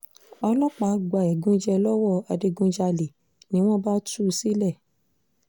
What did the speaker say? ọlọ́pàá gba ẹ̀gúnjẹ lọ́wọ́ adigunjalè ni wọ́n bá tú u sílẹ̀